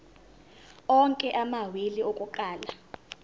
onke amawili akuqala